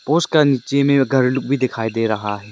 उसका नीचे में एक घर लोग दिखाई दे रहा है।